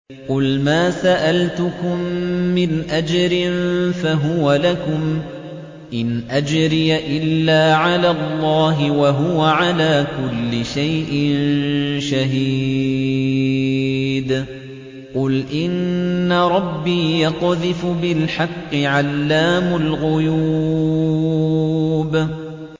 قُلْ مَا سَأَلْتُكُم مِّنْ أَجْرٍ فَهُوَ لَكُمْ ۖ إِنْ أَجْرِيَ إِلَّا عَلَى اللَّهِ ۖ وَهُوَ عَلَىٰ كُلِّ شَيْءٍ شَهِيدٌ